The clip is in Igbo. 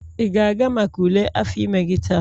ị ga-aga maka ule afọ ime gị taa?